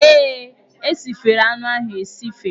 Ee, e sifere anụ ahụ esife.